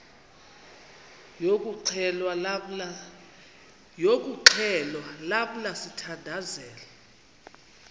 yokuxhelwa lamla sithandazel